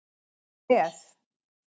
voru með